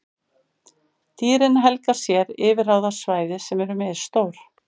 Dýrin helga sér yfirráðasvæði sem eru misstór.